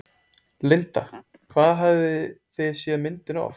Linda: Hvað hafið þið séð myndina oft?